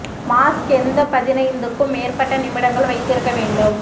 mask எந்த பதினைந்து க்கும் மேற்பட்ட நிமிடங்கள் வைத்திருக்க வேண்டும்